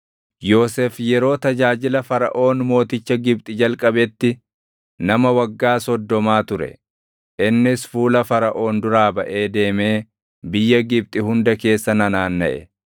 Yoosef yeroo tajaajila Faraʼoon mooticha Gibxi jalqabetti nama waggaa soddomaa ture; innis fuula Faraʼoon duraa baʼee deemee biyya Gibxi hunda keessa nanaannaʼe.